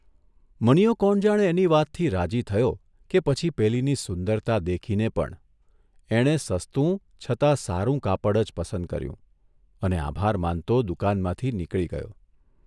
મનીયો કોણ જાણે એની વાતથી રાજી થયો કે પછી પેલીની સુંદરતા દેખીને પણ એણે સસ્તું છતાં સારું કાપડ જ પસંદ કર્યું અને આભાર માનતો દુકાનમાંથી નીકળી ગયો.